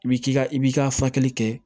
I b'i k'i ka i b'i ka fakɛli kɛ